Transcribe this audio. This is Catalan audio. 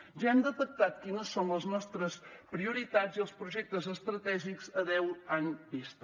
ja hem detectat quines són les nostres prioritats i els projectes estratègics a deu anys vista